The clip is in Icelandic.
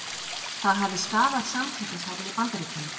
Það hafi skaðað samkeppnishæfni Bandaríkjanna